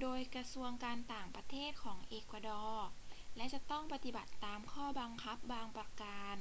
โดยกระทรวงการต่างประเทศของเอกวาดอร์ และจะต้องปฏิบัติตามข้อบังคับบางประการ